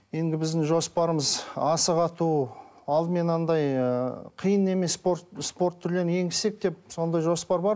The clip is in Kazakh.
енді біздің жоспарымыз асық ату алдымен анадай ыыы қиын емес спорт түрлерін енгізсек деп сондай жоспар бар